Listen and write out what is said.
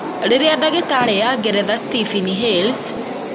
rĩrĩa ndagĩtarĩ ya ngeretha, Stephen Hales,